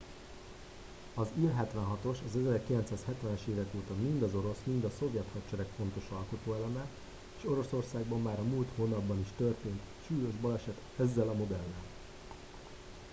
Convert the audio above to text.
az il-76-os az 1970-es évek óta mind az orosz mind a szovjet hadsereg fontos alkotóeleme és oroszországban már a múlt hónapban is történt egy súlyos baleset ezzel a modellel